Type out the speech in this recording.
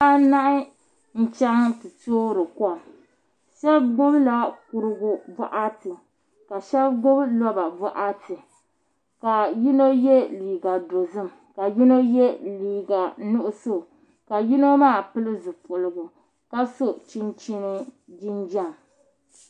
Bihi anahi n chɛŋ ti toori kom shab gbubila kurigu boɣati ka shab gbubi roba boɣati ka yino yɛ liiga dozim ka yino yɛ liiga nuɣso ka yino maa pili zipiligu ka so chinchin jinjɛm